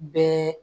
Bɛɛ